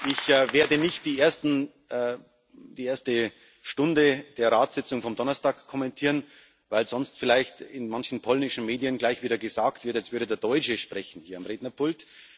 Ich werde nicht die erste Stunde der Ratssitzung vom Donnerstag kommentieren, weil sonst vielleicht in manchen polnischen Medien gleich wieder gesagt wird, jetzt würde der Deutsche sprechen hier am Rednerpult.